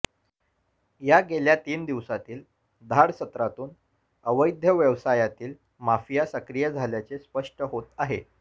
या गेल्या तीन दिवसांतील धाडसत्रातून अवैध व्यवसायतील माफिया सक्रिय झाल्याचे स्पष्ट होतं आहे